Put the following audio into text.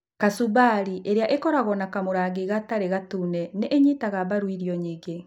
Kacumbari, ĩrĩa ĩkoragwo na kamũrangi gatarĩ gatune, nĩ ĩnyitaga mbaru irio nyingĩ.